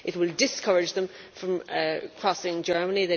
It will discourage them from crossing Germany.